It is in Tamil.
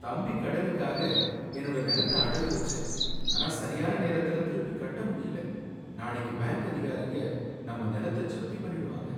தம்பி, கடனுக்காக என்னோட நிலத்த அடகு வைச்சேன், ஆனா சரியான நேரத்துல திருப்பிக் கட்ட முடியலை. நாளைக்கு பேங்க் அதிகாரிங்க நம்ம நிலத்த ஜப்தி பண்ணிடுவாங்க.